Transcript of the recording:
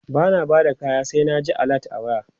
bana Bada kaya sai na ji alert a waya